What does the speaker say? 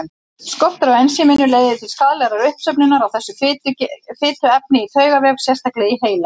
Skortur á ensíminu leiðir til skaðlegrar uppsöfnunar á þessu fituefni í taugavef, sérstaklega í heila.